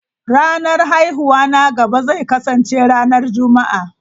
Ranar haihuwa na gaba zai kasance ranar Juma'a.